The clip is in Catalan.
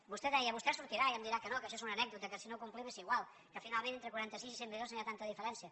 vostè deia vostè sortirà i em dirà que no que això és una anècdota que si no ho complim és igual que finalment entre quaranta sis i cent milions no hi ha tanta diferència